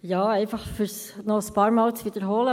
Ja, um es wahrscheinlich noch ein paarmal zu wiederholen: